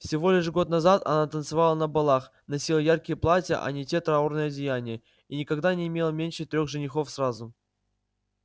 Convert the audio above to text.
всего лишь год назад она танцевала на балах носила яркие платья а не те траурные одеяния и никогда не имела меньше трёх женихов сразу